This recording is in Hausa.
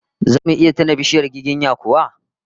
Zamu iya tuna bishiyar giginya kuwa?